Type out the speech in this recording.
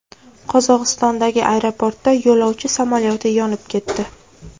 Qozog‘istondagi aeroportda yo‘lovchi samolyoti yonib ketdi.